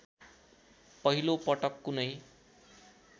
पहिलो पटक कुनै